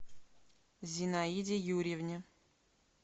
зинаиде юрьевне